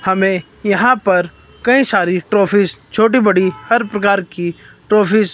हमें यहां पर कई सारी ट्रॉफीज छोटी बड़ी हर प्रकार की ट्रॉफीज ।